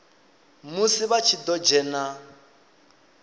musi vha tshi ḓo dzhena